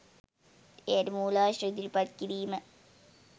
එයට මූලාශ්‍ර ඉදිරිපත් කිරීම